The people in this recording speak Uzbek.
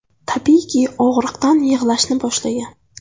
Tabiiyki og‘riqdan yig‘lashni boshlagan.